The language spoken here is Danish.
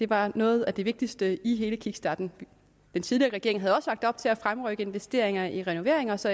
var noget af det vigtigste i hele kickstarten den tidligere regering havde også lagt op til at fremrykke investeringer i renoveringer så